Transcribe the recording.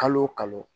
Kalo o kalo